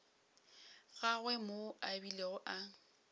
gagwe moo a bilego a